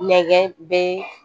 Nɛgɛn be